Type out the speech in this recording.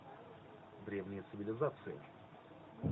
древние цивилизации